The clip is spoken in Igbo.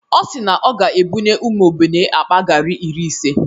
Ọ si na ọ ga-ebunye ụmụ ogbenye akpa gari iri ise.